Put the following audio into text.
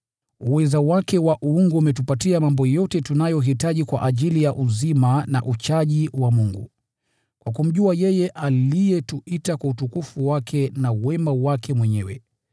Uweza wake wa uungu umetupatia mambo yote tunayohitaji kwa ajili ya uzima na uchaji wa Mungu, kwa kumjua yeye aliyetuita kwa utukufu wake na wema wake mwenyewe.